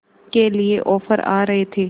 के लिए ऑफर आ रहे थे